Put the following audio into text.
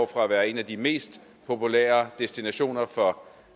fra at være en af de mest populære destinationer for